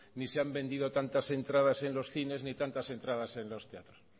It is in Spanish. ni se han vendido tantas entradas en los cines ni tantas entradas en los teatros